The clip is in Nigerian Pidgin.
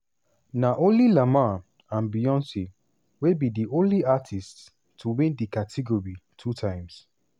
na only lamar and beyoncé wey be di only artists to win di category two times.